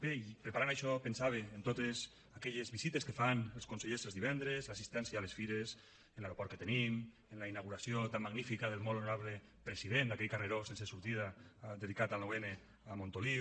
bé i preparant això pensava en totes aquelles visites que fan els consellers els divendres l’assistència a les fires en l’aeroport que tenim en la inauguració tan magnífica del molt honorable president d’aquell carreró sense sortida dedicat al nou n a montoliu